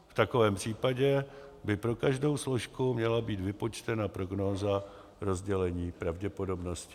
V takovém případě by pro každou složku měla být vypočtena prognóza rozdělení pravděpodobnosti.